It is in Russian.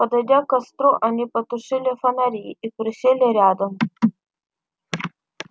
подойдя к костру они потушили фонари и присели рядом